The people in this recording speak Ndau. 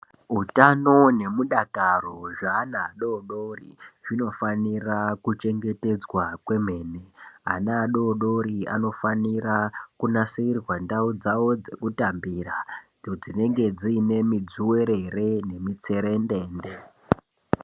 Utano nemudakaro zveana adodori zvinofanira kuchengetedzwa kwemene ana adodori anofanira kunasirirwa ndau dzao dzekutambira idzo dzinenge dzine midzuwerere nemitserendende.